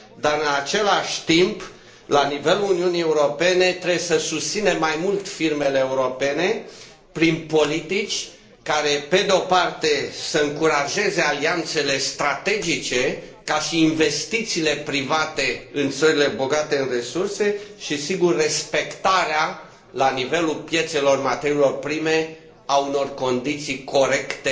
În același timp, la nivelul Uniunii Europene, trebuie să susținem mai mult firmele europene prin politici care, pe de o parte, să încurajeze alianțele strategice, ca și investițiile private în țările bogate în resurse și, sigur, respectarea la nivelul piețelor materiilor prime, a unor condiții corecte